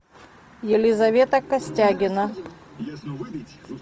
елизавета костягина